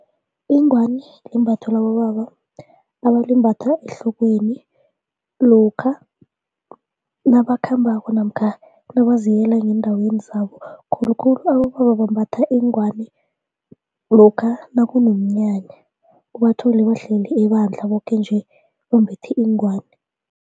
Ingwani limbatho labobaba abalimbatha ehlokweni lokha nabakhambako namkha nabaziyela ngeendaweni zabo khulukhulu abobaba bambatha iingwani lokha nakunomnyanya, ubathole bahlele ebandla boke nje bambethe iingwani.